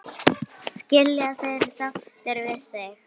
Skilja þeir sáttir við þig?